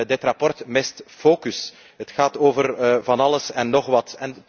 Dit rapport mist focus, het gaat over van alles en nog wat.